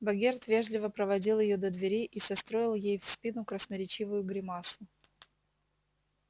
богерт вежливо проводил её до двери и состроил ей в спину красноречивую гримасу